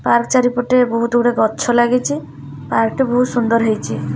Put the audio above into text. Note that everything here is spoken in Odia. ପାର୍କ ଚାରିପଟେ ବହୁତ ଗୁଡେ ଗଛ ଲାଗିଚି ପାର୍କ ଟି ବହୁତ ସୁନ୍ଦର ହେଇଚି।